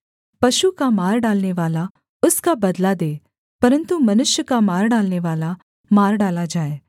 पशु का मार डालनेवाला उसका बदला दे परन्तु मनुष्य का मार डालनेवाला मार डाला जाए